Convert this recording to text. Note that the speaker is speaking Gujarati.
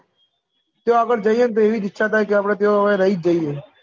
તો આમને જયીયે ન તયથી ઈચ્છા થાય કે અપને કેવા હોય રહી જયીયે